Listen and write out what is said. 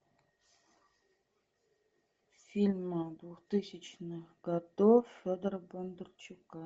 фильмы двухтысячных годов федора бондарчука